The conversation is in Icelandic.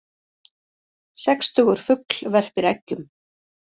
Sextugur fugl verpir eggjum